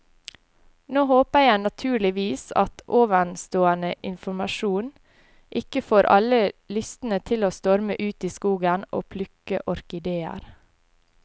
Nå håper jeg naturligvis at ovenstående informasjon ikke får alle lystne til å storme ut i skogen og plukke orkideer.